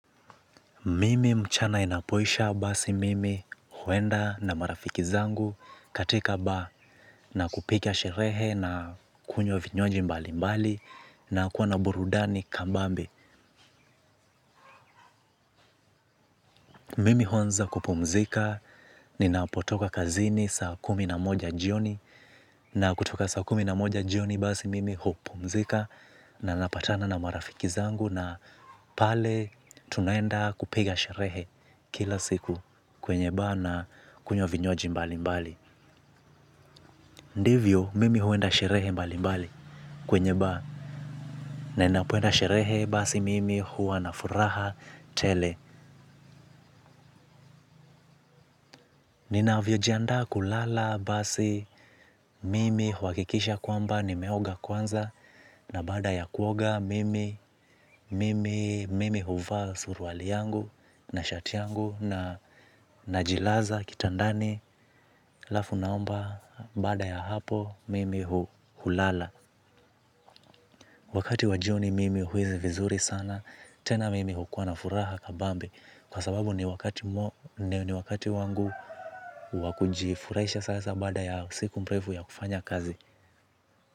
Mimi mchana inapoisha basi mimi huenda na marafiki zangu katika ba na kupiga sherehe na kunywa vinywaji mbali mbali na kuwa na burudani kambambe. Mimi huanza kupumzika ni napotoka kazini sa kumi na moja jioni na kutoka sa kumi na moja jioni basi mimi hupumzika na napatana na marafiki zangu na pale tunaenda kupiga sherehe kila siku. Kwenye ba na kunywa vinywaji mbali mbali. Ndivyo mimi huenda sherehe mbali mbali. Kwenye ba na napoenda sherehe basi mimi huwa na furaha tele. Nina vyo jianda kulala basi mimi huakikisha kwamba ni meoga kwanza. Na baada ya kuoga mimi mimi mimi huvaa suruali yangu na shati yangu na najilaza kitandani alafu naomba baada ya hapo mimi hu hulala. Wakati wajioni mimi huisi vizuri sana. Tena mimi hukua na furaha kabambe. Kwa sababu ni wakati wangu wakujifurahisha sasa baada ya siku mrefu ya kufanya kazi.